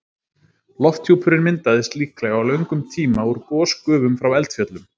Lofthjúpurinn myndaðist líklega á löngum tíma úr gosgufum frá eldfjöllum.